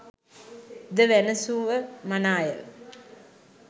ද වැනැසුව මනාය.